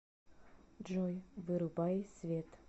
джой вырубай свет